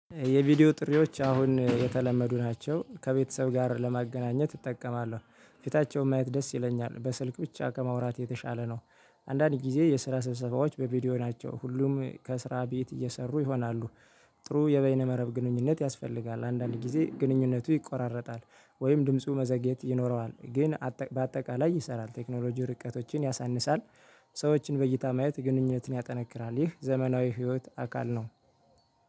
የቪዲዮ ጥሪዎች አሁን የተለመዱ ናቸው። ከቤተሰብ ጋር ለማገናኘት እጠቀማለሁ። ፊታቸውን ማየት ደስ ይለኛል። በስልክ ብቻ ከማውራት የተሻለ ነው። አንዳንድ ጊዜ የስራ ስብሰባዎች በቪዲዮ ናቸው። ሁሉም ከስራ ቤት እየሰሩ ይሆናሉ። ጥሩ የበይነ መረብ ግንኙነት ያስፈልጋል። አንዳንድ ጊዜ ግንኙነቱ ይቆራረጣል። ወይም ድምፁ መዘግየት ይኖረዋል። ግን በአጠቃላይ ይሰራል። ቴክኖሎጂ ርቀቶችን ያሳንሳል። ሰዎችን በዕይታ ማየት ግንኙነትን ያጠነክራል። ይህ ዘመናዊ ህይወት አካል ነው።